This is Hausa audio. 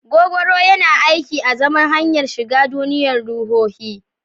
Gogoro yana aiki azaman hanyar shiga duniyar ruhohi.